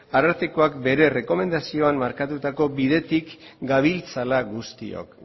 arartekoak bere errekomendazioan markatutako bidetik gabiltzala guztiok